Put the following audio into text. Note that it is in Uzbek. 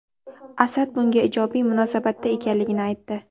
Asad bunga ijobiy munosabatda ekanligini aytdi”.